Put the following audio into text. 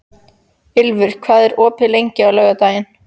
Ylfur, hvað er opið lengi á laugardaginn?